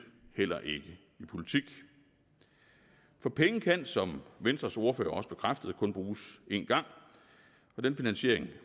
heller ikke i politik for penge kan som venstres ordfører også bekræftede kun bruges én gang og den finansiering